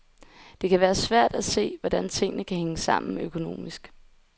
Det kan være svært at se, hvordan tingene kan hænge sammen økonomisk.